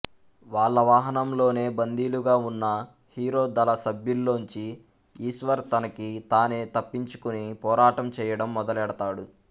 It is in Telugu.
వాళ్ళ వాహనంలోనే బందీలుగా వున్న హీరో దళ సభ్యుల్లోంచి ఈశ్వర్ తనకి తానే తప్పించుకుని పోరాటం చేయడం మొదలెడతాడు